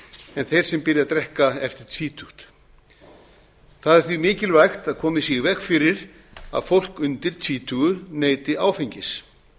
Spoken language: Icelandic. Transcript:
en þeir sem byrja að drekka eftir tvítugt það er því mikilvægt að komið sé í veg fyrir að fólk undir tvítugu neyti áfengis